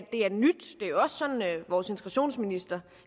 og er sådan vores integrationsminister